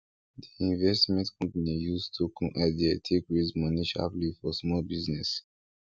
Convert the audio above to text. di investment company use token idea take raise money sharperly for small business